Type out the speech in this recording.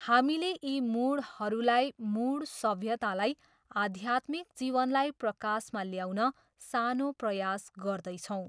हामीले यी मूढहरूलाई, मूढ सभ्यतालाई आध्यात्मिक जीवनलाई प्रकाशमा ल्याउन सानो प्रयास गर्दैछौँ।